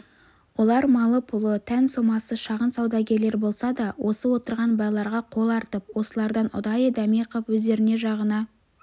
олар малы-пұлы тән-сомасы шағын саудагерлер болса да осы отырған байларға қол артып осылардан ұдайы дәме қып өздеріне жағына